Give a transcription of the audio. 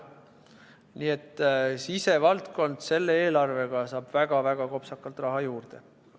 Nii et sisevaldkond selle eelarvega saab väga-väga kopsakalt raha juurde.